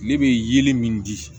Ne bɛ yeli min di